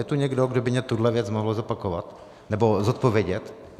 Je tu někdo, kdo by mi tuhle věc mohl zopakovat nebo zodpovědět?